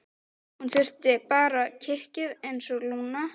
Hún þurfti bara kikkið einsog Lúna.